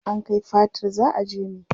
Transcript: An kai fatar za a jeme.